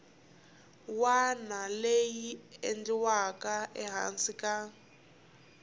wana lexi endliwaka ehansi ka